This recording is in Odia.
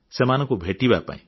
ସେମାନଙ୍କୁ ଭେଟିବା ପାଇଁ